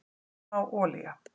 Smá olía